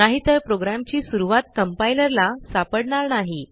नाहीतर प्रोग्रॅमची सुरूवात कंपाइलर ला सापडणार नाही